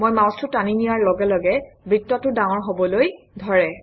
মই মাউচটো টানি নিয়াৰ লগে লগে বৃত্তটো ডাঙৰ হবলৈ ধৰে